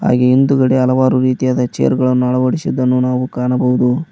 ಹಾಗೆ ಹಿಂದುಗಡೆ ಹಲವಾರು ರೀತಿಯಾದ ಚೇರು ಗಳನ್ನು ಅಳವಡಿಸಿದ್ದನ್ನು ನಾವು ಕಾಣಬಹುದು.